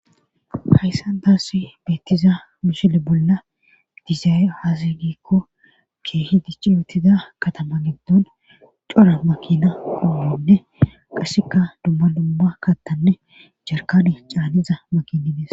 Hayssan Tassi beettiza mishile bolla dizay hazigikko ke hidici yutida katama giddon cora makina uddonne qasseka dumma dumma kattanne jarkani caaniza makini dis.